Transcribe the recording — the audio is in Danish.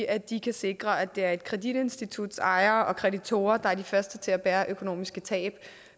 at de kan sikre at det er et kreditinstituts ejere og kreditorer der er de første til at bære økonomiske tab